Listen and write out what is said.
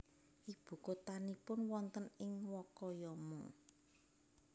Ibu kotanipun wonten ing Wakayama